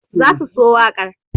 they will love the song